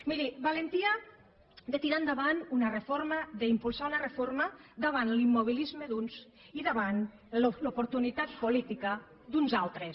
miri valentia de tirar endavant una reforma d’impulsar una reforma davant l’immobilisme d’uns i davant l’oportunitat política d’uns altres